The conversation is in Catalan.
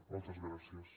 moltes gràcies